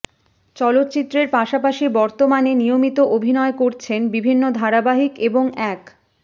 চলচ্চিত্রের পাশাপাশি বর্তমানে নিয়মিত অভিনয় করছেন বিভিন্ন ধারাবাহিক এবং এক